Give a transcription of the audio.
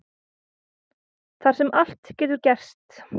Þar sem allt getur gerst.